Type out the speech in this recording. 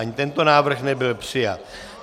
Ani tento návrh nebyl přijat.